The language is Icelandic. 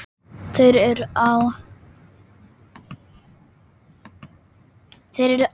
Þeir eru á